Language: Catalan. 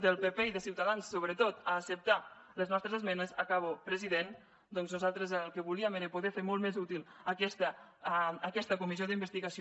del pp i de ciutadans sobretot a acceptar les nostres esmenes acabo president doncs nosaltres el que volíem era poder fer molt més útil aquesta comissió d’investigació